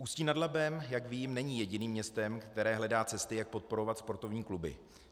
Ústí nad Labem, jak vím, není jediným městem, které hledá cesty, jak podporovat sportovní kluby.